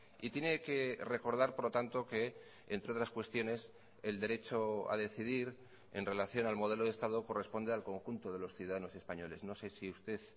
y tiene que recordar por lo tanto que entre otras cuestiones el derecho a decidir en relación al modelo de estado corresponde al conjunto de los ciudadanos españoles no sé si usted